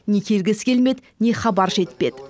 не келгісі келмеді не хабар жетпеді